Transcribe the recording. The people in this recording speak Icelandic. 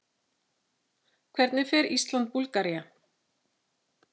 Hvernig fer Ísland- Búlgaría?